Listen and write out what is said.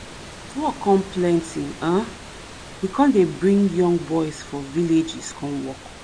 as work con plenty um we con dey bring young boys for villages come work